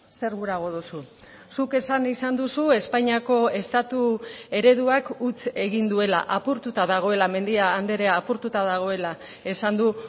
zer gurago duzu zuk esan izan duzu espainiako estatu ereduak huts egin duela apurtuta dagoela mendia andrea apurtuta dagoela esan du